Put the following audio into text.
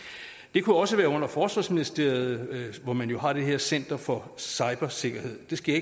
det kunne også ligge under forsvarsministeriet hvor man jo har det her center for cybersikkerhed det skal